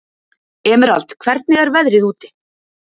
Emerald, hvernig er veðrið úti?